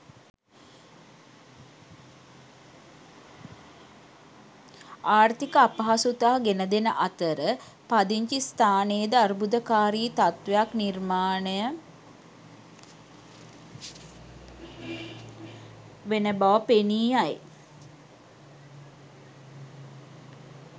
ආර්ථික අපහසුතා ගෙනදෙන අතර පදිංචි ස්ථානයේද අර්බුදකාරී තත්ත්වයක් නිර්මාණය වන බව පෙනී යයි.